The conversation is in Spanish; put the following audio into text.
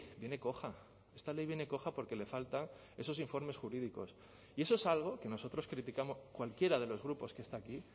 viene coja esta ley viene coja porque le falta esos informes jurídicos y eso es algo que nosotros criticamos cualquiera de los grupos que está aquí